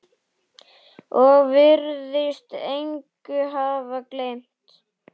Og virðist engu hafa gleymt.